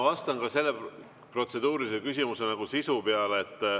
Vastan sellele protseduurilisele küsimusele.